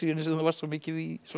sem þú varst svo mikið í